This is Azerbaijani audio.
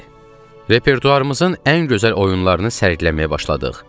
Repertuarımızın ən gözəl oyunlarını sərgiləməyə başladıq.